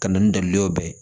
Ka na ni dali ye bɛɛ ye